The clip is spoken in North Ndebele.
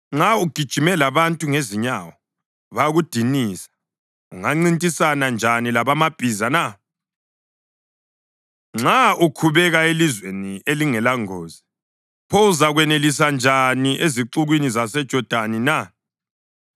“Nxa ugijime labantu ngezinyawo bakudinisa, ungancintisana njani lamabhiza na? Nxa ukhubeka elizweni elingelangozi, pho uzakwanelisa njani ezixukwini zaseJodani na?